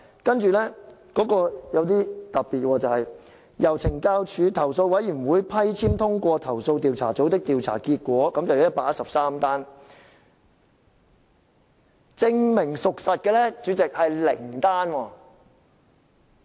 不過，有一點很特別，就是由懲教署投訴委員會批簽通過投訴調查組的調查結果有113宗，但證明屬實的是零宗。